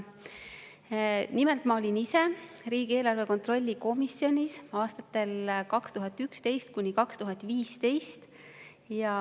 Nimelt, ma olin ise riigieelarve kontrolli erikomisjonis aastatel 2011–2015.